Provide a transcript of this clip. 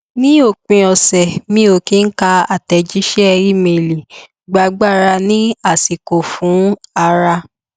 ní òpin ọsẹ mi ò kí ká àtẹjíṣẹ ímeèlì gba agbára ní àsìkò fún ara